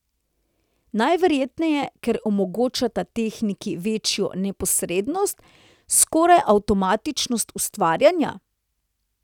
Najverjetneje, ker omogočata tehniki večjo neposrednost, skoraj avtomatičnost ustvarjanja?